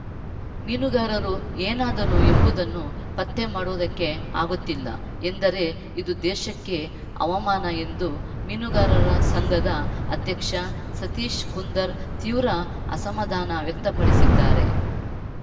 ಮೀನುಗಾರರು ಏನಾದರೂ ಎಂಬುದನ್ನು ಪತ್ತೆ ಮಾಡುವುದಕ್ಕೆ ಆಗುತ್ತಿಲ್ಲ ಎಂದರೆ ಇದು ದೇಶಕ್ಕೆ ಅವಮಾನ ಎಂದು ಮೀನುಗಾರರ ಸಂಘದ ಅಧ್ಯಕ್ಷ ಸತೀಶ್‌ ಕುಂದರ್‌ ತೀವ್ರ ಅಸಮಾಧಾನ ವ್ಯಕ್ತಪಡಿಸಿದ್ದಾರೆ